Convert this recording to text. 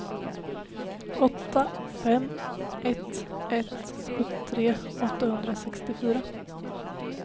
åtta fem ett ett sjuttiotre åttahundrasextiofyra